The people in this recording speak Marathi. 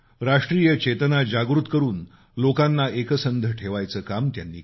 राष्ट्रीय चेतना जागृत करून लोकांना एकसंध ठेवायचं काम त्यांनी केलं